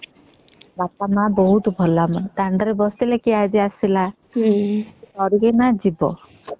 ବାପା ମା ବସିଲେ ଦାଣ୍ଡ ରେ କେ ଆଜି ଆସିଲା ରହିବ ନା ଯିବ